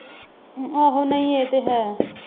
ਆਹੋ ਨਹੀਂ ਇਹ ਤੇ ਹੈ।